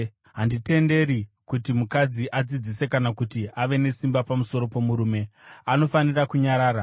Handitenderi kuti mukadzi adzidzise kana kuti ave nesimba pamusoro pomurume; anofanira kunyarara.